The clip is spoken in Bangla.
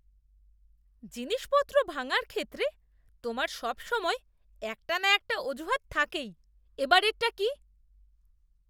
জিনিসপত্র ভাঙার ক্ষেত্রে তোমার সবসময় একটা না একটা অজুহাত থাকেই। এবারেরটা কী?